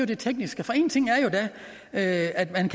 det tekniske for en ting er jo at man